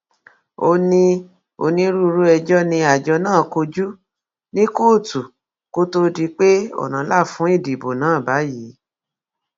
ó ní onírúurú ẹjọ ni àjọ náà kojú ní kóòtù kó tóó di pé ọnà la fún ìdìbò náà báyìí